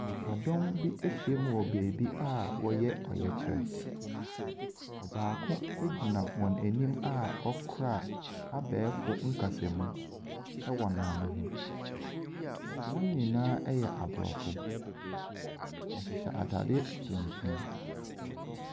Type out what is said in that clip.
Nipadɔm bi ahia wɔ baabi a wɔreyɛ ɔyɛkyerɛ. Ɔbaako gyina wɔn anim a ɔkura abɛɛfo kasamu wɔ n'ano ho. Wɔn nyinaa yɛ Aborɔfo. Wɔhyehyɛ ntadeɛ ntuntum.